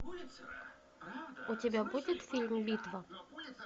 у тебя будет фильм битва